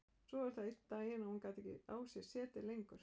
Svo var það einn daginn að hún gat ekki á sér setið lengur.